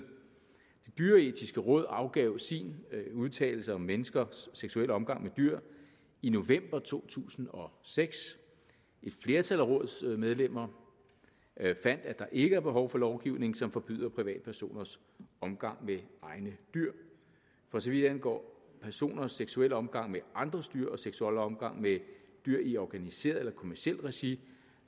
det dyreetiske råd afgav sin udtalelse om menneskers seksuelle omgang med dyr i november to tusind og seks et flertal af rådets medlemmer fandt at der ikke er behov for lovgivning som forbyder privatpersoners omgang med egne dyr for så vidt angår personers seksuelle omgang med andres dyr og seksuelle omgang med dyr i organiseret og kommercielt regi